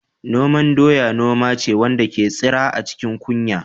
Noman doya noma ce wanda ke tsira a cikin kunya.